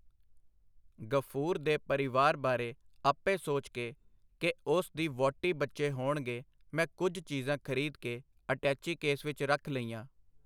ਗ਼ਫੂਰ ਦੇ ਪਰਿਵਾਰ ਬਾਰੇ ਆਪੇ ਸੋਚ ਕੇ ਕਿ ਉਸ ਦੀ ਵਹੁਟੀ ਬੱਚੇ ਹੋਣਗੇ ਮੈਂ ਕੁਝ ਚੀਜ਼ਾਂ ਖਰੀਦ ਕੇ ਅਟੈਚੀਕੇਸ ਵਿੱਚ ਰੱਖ ਲਈਆਂ.